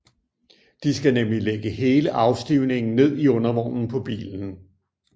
De skal nemlig lægge hele afstivningen ned i undervognen på bilen